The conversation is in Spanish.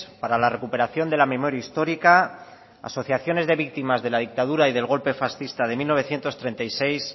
para la recuperación de la memoria histórica asociaciones de víctimas de la dictadura y del golpe fascista de mil novecientos treinta y seis